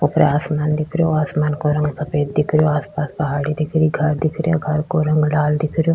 ऊपर आसमान दिख रह्यो आसमान का रंग सफ़ेद दिख रहियो आस पास पहाड़ी दिख रही घर दिख रहिया घर का रंग लाल दिख रहियो।